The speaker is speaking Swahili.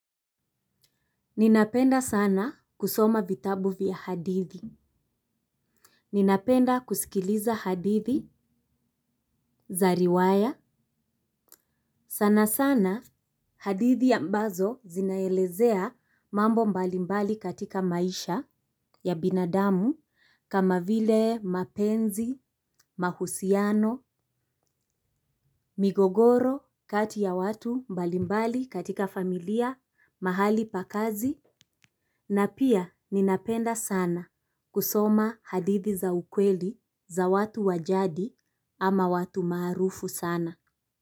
Ninapenda sana kusoma vitabu vya hadithi. Ninapenda kusikiliza hadithi za riwaya. Sana sana hadithi ambazo zinaelezea mambo mbalimbali katika maisha ya binadamu kama vile mapenzi, mahusiano, migogoro kati ya watu mbalimbali katika familia, mahali pa kazi. Na pia ninapenda sana kusoma hadithi za ukweli za watu wa jadi ama watu maarufu sana.